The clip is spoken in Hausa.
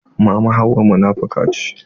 Mama hauwa munafuka ce.